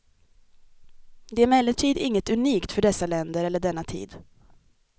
Det är emellertid inget unikt för dessa länder eller denna tid.